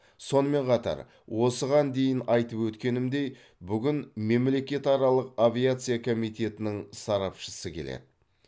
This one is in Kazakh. сонымен қатар осыған дейін айтып өткенімдей бүгін мемлекетаралық авиация комитетінің сарапшысы келеді